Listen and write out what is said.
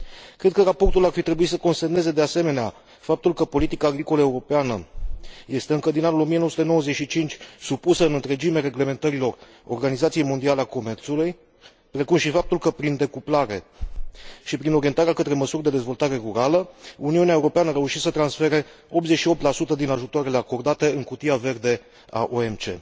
Cred că raportul ar fi trebuit să consemneze, de asemenea, faptul că politica agricolă europeană este, încă din anul 1995, supusă în întregime reglementărilor Organizației Mondiale a Comerțului, precum și faptul că, prin decuplare și prin orientarea către măsuri de orientare rurală, Uniunea Europeană a reușit să transfere 88 din ajutoarele acordate în cutia verde a OMC.